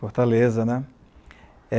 Fortaleza, né?